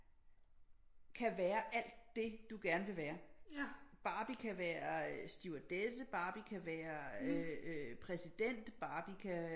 Kan være alt det du gerne vil være Barbie kan være stewardesse bare kan være præsident Barbie kan